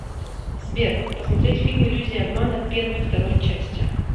сбер посмотреть фильм иллюзия обмана первой второй части